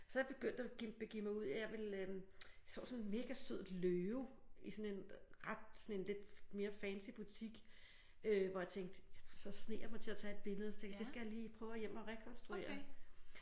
Så er jeg begyndt at begive mig ud i at jeg vil øh jeg så sådan en mega sød løve i sådan en ret sådan en lidt mere fancy butik øh hvor jeg tænkte så sneg jeg mig til at tage et billede så tænkte det skal jeg lige prøve at hjem og rekonstruere